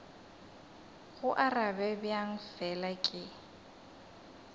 go arabe bjang fela ke